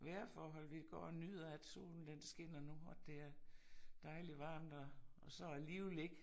Vejrforhold vi går og nyder at solen den skinner nu og det er dejlig varmt og og så alligevel ikke